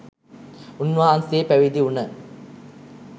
උන්වහන්සේ පැවිදිවුන